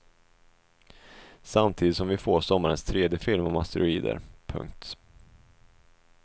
Samtidigt som vi får sommarens tredje film om asteroider. punkt